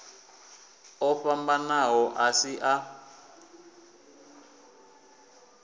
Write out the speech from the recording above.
o fhambanaho a si a